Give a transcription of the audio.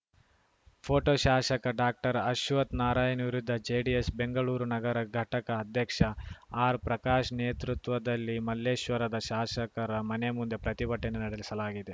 photo ಶಾಶಕ ಡಾಕ್ಟರ್ಅಶ್ವತ್ Narayan ವಿರುದ್ಧ JDS Bengaluru ನಗರ ಘಟಕ ಅಧ್ಯಕ್ಷ ಆರ್‌ಪ್ರಕಾಶ್‌ ನೇತೃತ್ವದಲ್ಲಿ ಮಲ್ಲೇಶ್ವರದ ಶಾಶಕರ ಮನೆ ಮುಂದೆ ಪ್ರತಿಭಟನೆ ನಡೆಸಲಾಗಿದೆ